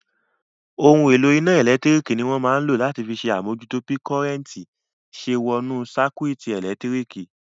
Ohun èlò iná ẹ̀lẹ́tírík ní wọ́n máa n lò láti fi ṣe àmújútó bí kọ́nrẹ́ntì ṣe wọnú sáíkúùtì ẹlẹtíríkì